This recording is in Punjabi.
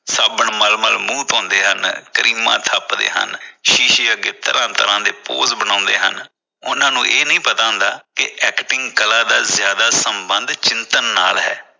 ਸਾਬਣ ਮੱਲ ਮੱਲ ਮੂੰਹ ਧੋਂਦੇ ਹਨ ਕਰੀਮਾਂ ਥੱਪਦੇ ਹਨ। ਸ਼ੀਸ਼ੇ ਅੱਗੇ ਤਰ੍ਹਾਂ ਤਰ੍ਹਾਂ ਦੇ pose ਬਣਾਉਂਦੇ ਹਨ । ਪਰ ਉਨ੍ਹਾਂ ਨੂੰ ਇਹ ਨਹੀਂ ਪਤਾ ਹੁੰਦਾ ਕਿ acting ਕਲਾ ਦਾ ਜਿਆਦਾ ਸੰਬੰਧ ਚਿੰਤਨ ਨਾਲ ਹੈ।